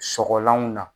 Sɔgɔlanw na